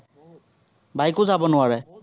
bike ও যাব নোৱাৰে।